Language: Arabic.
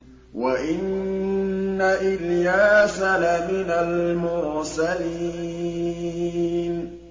وَإِنَّ إِلْيَاسَ لَمِنَ الْمُرْسَلِينَ